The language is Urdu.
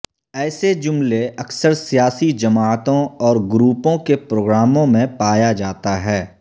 ایسے جملے اکثر سیاسی جماعتوں اور گروپوں کے پروگراموں میں پایا جاتا ہے